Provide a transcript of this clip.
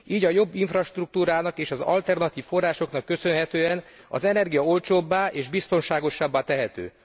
Így a jobb infrastruktúrának és az alternatív forrásoknak köszönhetően az energia olcsóbbá és biztonságosabbá tehető.